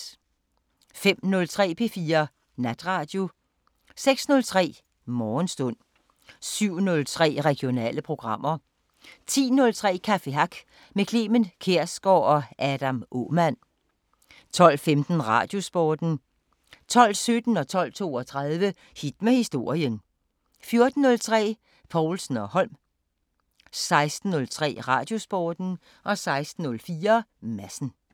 05:03: P4 Natradio 06:03: Morgenstund 07:03: Regionale programmer 10:03: Café Hack med Clement Kjersgaard og Adam Aamann 12:15: Radiosporten 12:17: Hit med historien 12:32: Hit med historien 14:03: Povlsen & Holm 16:03: Radiosporten 16:04: Madsen